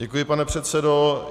Děkuji, pane předsedo.